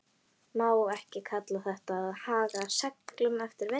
Má ekki kalla þetta að haga seglum eftir vindi?